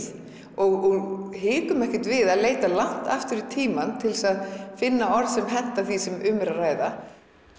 og hikum ekkert við leita langt aftur í tímann til þess að finna orð sem henta því sem um er að ræða